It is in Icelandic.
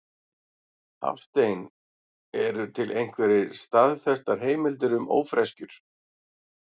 Hafstein Eru til einhverjar staðfestar heimildir um ófreskjur?